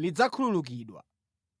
lidzakhululukidwa.